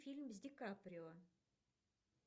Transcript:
фильм с ди каприо